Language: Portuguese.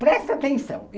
Presta atenção.